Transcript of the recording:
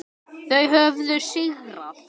Þau höfðu sigrað.